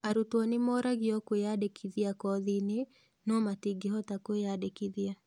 Arutwo nĩ moragio kwĩyandĩkithia kothi-inĩ, no matingĩhota kwĩyandĩkithia.